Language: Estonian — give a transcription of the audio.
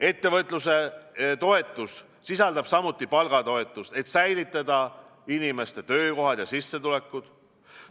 Ettevõtluse toetus sisaldab samuti palgatoetust, et säilitada inimeste töökohad ja sissetulekud.